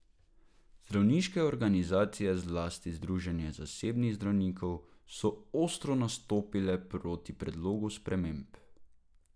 Zdravniške organizacije, zlasti združenje zasebnih zdravnikov, so ostro nastopile proti predlogu sprememb.